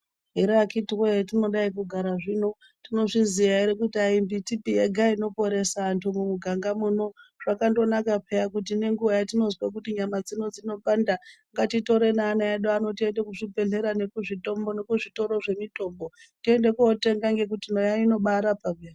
Here akhitiwee hatinodai kugara zvino yinozviziyaa here kuti hayii mbitipi yega inoporesa antu mumuganga muno, zvakandonaka peya kuti nenguva yatinozwa kuti nyama dzino dzinopanda ngatitore neana edu ano tiende kuzvibhedhlera nekuzvitoro zvemitombo tiende kotenga ngokuti nayo inobaarapa peyaa.